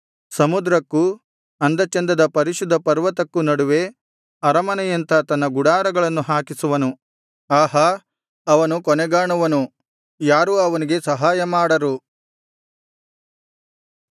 ಸಮುದ್ರಕ್ಕೂ ಅಂದ ಚಂದದ ಪರಿಶುದ್ಧ ಪರ್ವತಕ್ಕೂ ನಡುವೆ ಅರಮನೆಯಂಥ ತನ್ನ ಗುಡಾರಗಳನ್ನು ಹಾಕಿಸುವನು ಆಹಾ ಅವನು ಕೊನೆಗಾಣುವನು ಯಾರೂ ಅವನಿಗೆ ಸಹಾಯ ಮಾಡರು